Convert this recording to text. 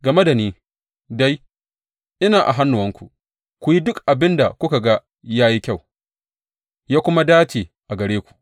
Game da ni dai, ina a hannuwanku; ku yi duk abin da kuka ga ya yi kyau, ya kuma dace a gare ku.